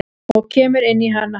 Og kemur inn í hana.